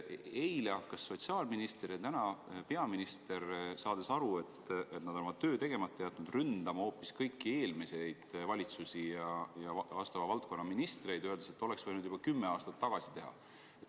Eile hakkas sotsiaalminister ja täna peaminister, saades aru, et nad on oma töö tegemata jätnud, ründama hoopis kõiki eelmisi valitsusi ja vastava valdkonna ministreid, öeldes, et oleks võinud juba kümme aastat tagasi midagi teha.